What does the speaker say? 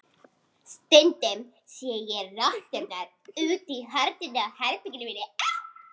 Stundum sé ég rotturnar úti í hornunum á herberginu mínu.